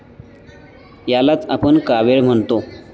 यालाच आपण कावीळ म्हणतो.